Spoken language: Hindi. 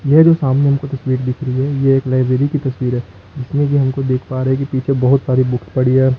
यह जो सामने हमको तस्वीर दिख रही है ये एक लाइब्रेरी की तस्वीर है जिसमें कि हमको देख पा रहे हैं कि पीछे बहुत सारी बुक्स पड़ी है।